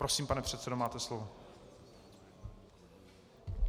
Prosím, pane předsedo, máte slovo.